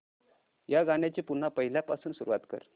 या गाण्या ची पुन्हा पहिल्यापासून सुरुवात कर